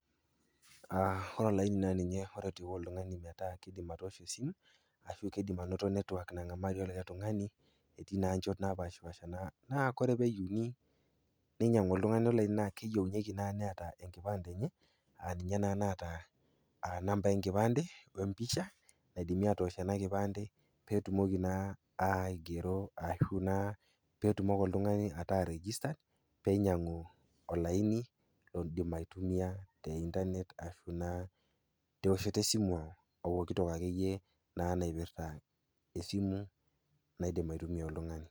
Ore olaini naa ninye oretoki oltung'ani metaa keidim atoosho esimu ashu keidim anoto network nang'amarie likai tung'ani etii naa nchot napaashipaasha. Naa ore peeyieuni ninyang'u oltung'ani olaini naa keyeuni neata naa enkipande enye ninye naata nambai enkipande wempisha naidimi atoosho ena kipande peetumoki naa aigero ashu peetumoki oltung'ani ataa registered peinyang'u olaini loidim aitumia teintanet ashu naa teoshoto esimu opoki toki akeyie naa naipirta esimu naidim aitumia oltung'ani.